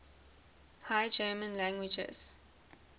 high german languages